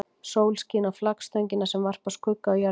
Sólin skín á flaggstöngina sem varpar skugga á jörðina.